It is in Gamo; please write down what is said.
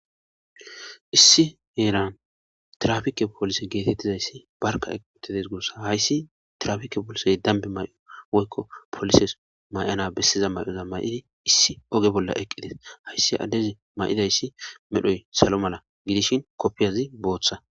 Issi heeran trafike polise geetettizayssi barka equttides gurssa hayssi trafike poolisey dambi may'o woykko polises may'ana bessiza may'oza may'idi issi oge bolla eqqides hayssi addezi may'idayssi medhoy salo mala gidishin koppiyazi booththa.